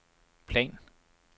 plan